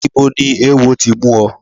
Ibo ni ewo ti mú ọ?